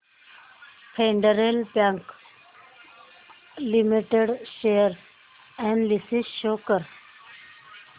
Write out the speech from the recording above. federal Bank Limited share analysis show कर